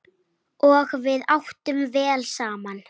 Og við áttum vel saman.